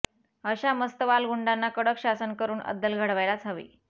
अशा मस्तवाल गुंडांना कडक शासन करून अद्दल घडवायलाच हवी